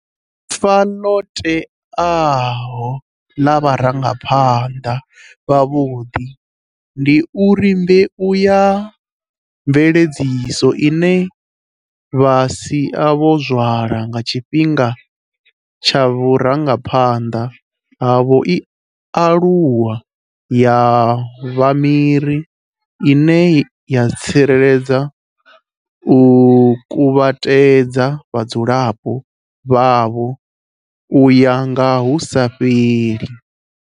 Ifa ḽo teaho ḽa vharangapha nḓa vhavhuḓi ndi uri mbeu ya mveledziso ine vha sia vho zwala nga tshifhinga tsha vhurangaphanḓa havho i aluwa ya vha miri ine ya tsireledza na u kuvhatedza vhadzulapo vhavho u ya nga hu sa fheli.